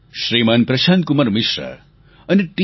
શ્રીમાન પ્રશાંતકુમાર મિશ્ર અને ટી